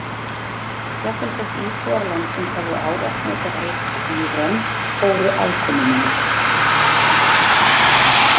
Jafnvel þótt íbúar landsins hefðu ávallt notað heitið Íran fóru aðkomumenn.